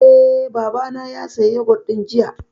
Eh, Baba na ya saya yogut ɗin jiya